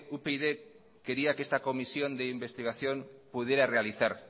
upyd quería que esta comisión de investigación pudiera realizar